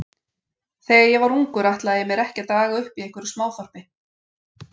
Þegar ég var ungur ætlaði ég mér ekki að daga uppi í einhverju smáþorpi.